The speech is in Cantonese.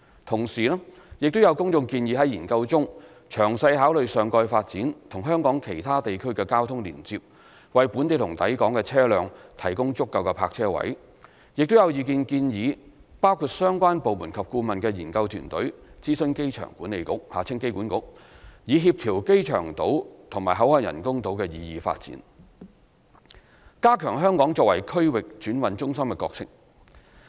同時，亦有公眾建議在研究中詳細考慮上蓋發展與香港其他地區的的交通連接，為本地和抵港的車輛提供足夠泊車位；亦有意見建議包括相關部門及顧問的研究團隊諮詢香港機場管理局以協調機場島及口岸人工島的擬議發展，加強香港作為區域轉運中心的角色。